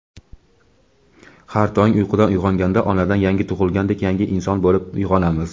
har tong uyqudan uyg‘onganda onadan yangi tug‘ilgandek yangi inson bo‘lib uyg‘onamiz.